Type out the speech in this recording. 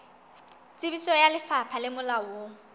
tsebiso ya lefapha le molaong